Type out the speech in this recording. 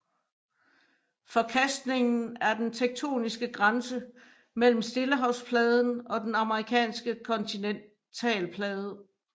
Forkastningen er den tektoniske grænse mellem Stillehavspladen og den amerikanske kontinentalplade